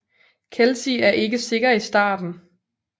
Kelsi er ikke sikker i starten